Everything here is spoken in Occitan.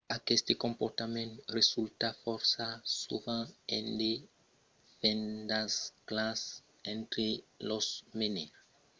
aqueste comportament resulta fòrça sovent en de fendasclas entre los menaires e la rèsta de l’equipa